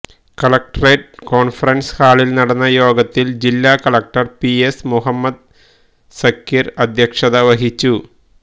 collectorate conference ഹാളില് നടന്ന യോഗത്തില് ജില്ലാ collector P S Muhammad Sageer അധ്യക്ഷത വഹിച്ചു